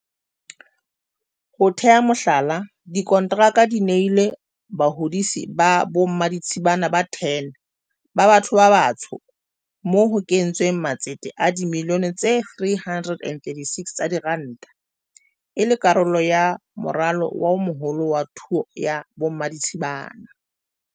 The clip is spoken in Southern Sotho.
Ho tea mohlala, dikonteraka di nehilwe bahodisi ba bommaditshibana ba 10 ba batho ba batsho moo ho kentsweng matsete a dimilione tse 336 tsa diranta, e le karolo ya moralo o moholo wa thuo ya bommaditshibana.